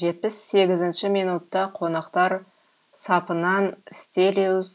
жетпіс сегізінші минутта қонақтар сапынан стелиос